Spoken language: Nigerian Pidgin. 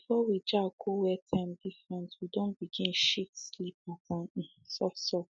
before we jack go where time different we don begin shift sleep pattern um softsoft